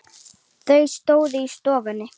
Þau stóðu í stofunni.